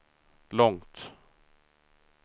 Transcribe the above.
långt